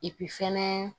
fɛnɛ